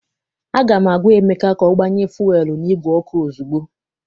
Aga m agwa Emeka ka o gbanye fuelu n' igwe ọkụ ozugbo!